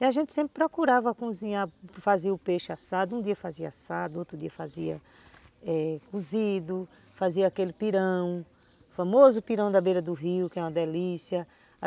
E a gente sempre procurava cozinhar, fazer o peixe assado, um dia fazia assado, outro dia fazia é, cozido, fazia aquele pirão, famoso pirão da beira do rio, que é uma delícia.